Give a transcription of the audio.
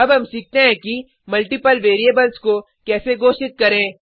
अब हम सीखते हैं कि मल्टिपल वेरिएबल्स को कैसे घोषित करें